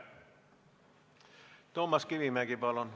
Toomas Kivimägi, palun!